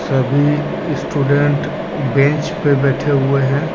सभी student bench पे बैठे हुए हैं।